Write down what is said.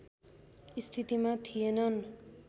स्थितिमा थिएनन्